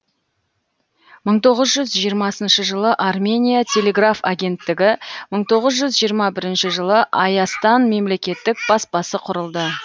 мың тоғыз жүз жиырмасыншы жылы армения телеграф агенттігі мың тоғыз жүз жиырма бірінші жылы айастан мемлекеттік баспасы құрылды